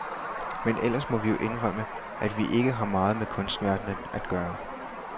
Men ellers må vi jo indrømme, at vi ikke har meget med kunstverdenen at gøre.